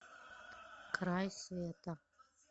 край света